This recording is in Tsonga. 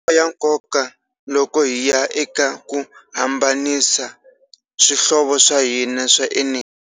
Ya nkoka loko hi ya eka ku hambanisa swihlovo swa hina swa eneji.